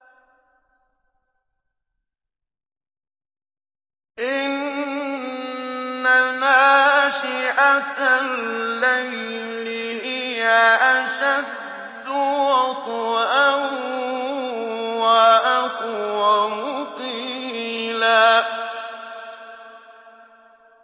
إِنَّ نَاشِئَةَ اللَّيْلِ هِيَ أَشَدُّ وَطْئًا وَأَقْوَمُ قِيلًا